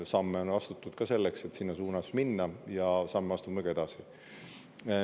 Samme on ka astutud selleks, et sinna suunas minna, ja samme astume ka edasi.